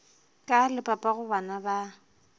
ka le papago bana ba